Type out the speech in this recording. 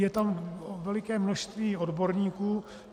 Je tam veliké množství odborníků.